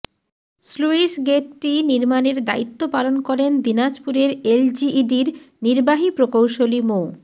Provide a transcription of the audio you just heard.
sluice গেইটটি নির্মাণের দায়িত্ব পালন করেন দিনাজপুরের এলজিইডির নির্বাহী প্রকৌশলী মো